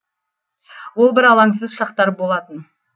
ол бір алаңсыз шақтар болатын